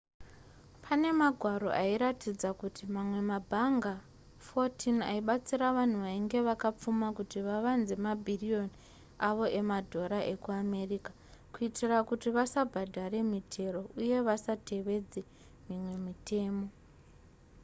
pane magwaro airatidza kuti mamwe mabhanga 14 aibatsira vanhu vainge vakapfuma kuti vavanze mabhiriyoni avo emadhora ekuamerica kuitira kuti vasabhadhara mitero uye vasatevedza mimwe mitemo